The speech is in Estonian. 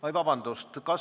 Oi, vabandust!